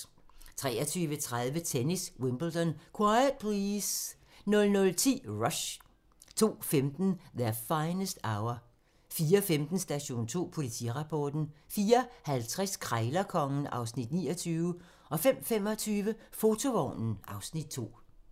23:30: Tennis: Wimbledon - quiet please! 00:10: Rush 02:15: Their Finest Hour 04:15: Station 2: Politirapporten 04:50: Krejlerkongen (Afs. 29) 05:25: Fotovognen (Afs. 2)